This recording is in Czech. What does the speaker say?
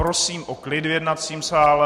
Prosím o klid v jednacím sále!